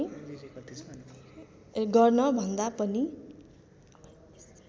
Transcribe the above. गर्न भन्दा पनि